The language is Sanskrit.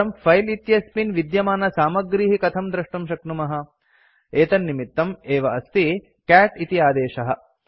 परं फिले इत्यस्मिन् विद्यमानसामग्रीः कथं द्रष्टुं शक्नुमः एतन्निमित्तं एव अस्ति कैट् इति आदेशः